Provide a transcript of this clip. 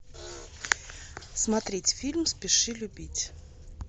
смотреть фильм спеши любить